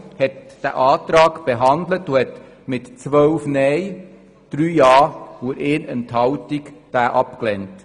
Die Kommission hat den Antrag behandelt und mit 3 Ja-Stimmen gegen 12 Nein-Stimmen bei einer Enthaltung abgelehnt.